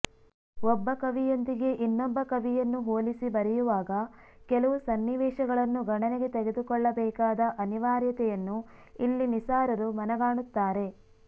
ಒಬ್ಬ ಕವಿಯೊಂದಿಗೆ ಇನ್ನೊಬ್ಬ ಕವಿಯನ್ನು ಹೋಲಿಸಿ ಬರೆಯುವಾಗ ಕೆಲವು ಸನ್ನಿವೇಶಗಳನ್ನು ಗಣನೆಗೆ ತೆಗೆದುಕೊಳ್ಳಬೇಕಾದ ಅನಿವಾರ್ಯತೆಯನ್ನು ಇಲ್ಲಿ ನಿಸಾರರು ಮನಗಾಣುತ್ತಾರೆ